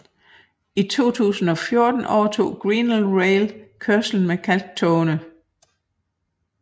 I 2014 overtog Grenland Rail kørslen med kalktogene